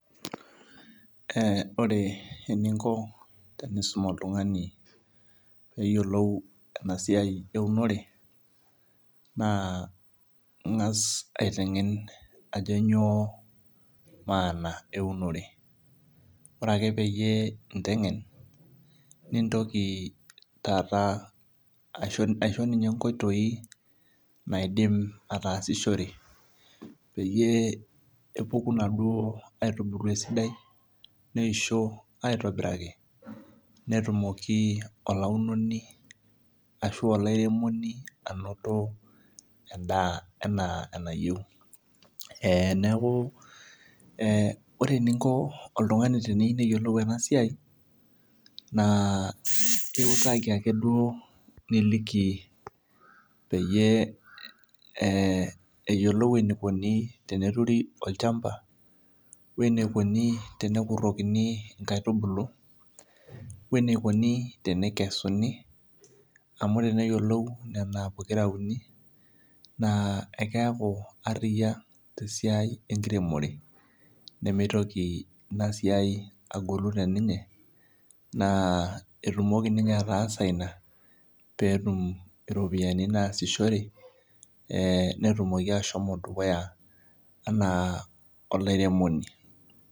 Eeh ore eninko tenisum oltung'ani peeyiolou ena siai eunore naa ing'as aiteng'en ajo nyoo maana eunore ore ake pee inteng'en nintoki aisho ninye inkoitoi eunore pee epuku inaduo aitubulu esidai neishoo eitobiraki netumoki olaunoni ashua olairemoni anoto endaa enaa enayieu neeku ore eninko oltung'ani teniyieu neyiolou ena siai naa iutaki ake duo niliki peyie eyiolou eneikoni teneturi olchamba weinikonu tenepiki inkaitubulu weneikoni teneikesuni amu teneyioloun nena pokira uni naa keeku aria tesiai enkiremore nemeitoki ina siai agolu teninye naaa etumoki ninye ataasa ina peetu iropiyiani naasishore netumoki ashomo dukuya enaa olairemoni